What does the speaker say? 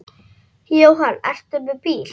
Jóhann: Ertu með bíl?